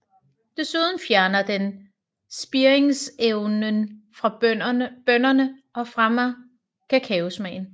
Desuden fjerner den spiringsevnen fra bønnerne og fremmer kakaosmagen